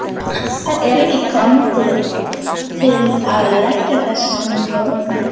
Og er ekki kominn tími til að leggja þessa Norðmenn?